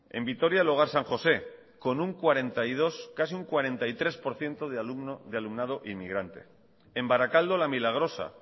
en vitoria el hogar san josé con un cuarenta y dos casi cuarenta y tres por ciento de alumnado inmigrante en barakaldo la milagrosa